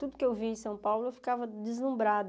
Tudo que eu via em São Paulo eu ficava deslumbrada.